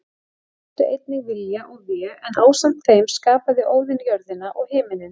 Þau áttu einnig Vilja og Vé en ásamt þeim skapaði Óðinn jörðina og himininn.